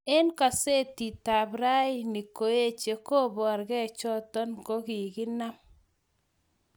Eng kasetitab raini ngoeche, kobargei choto nogaginam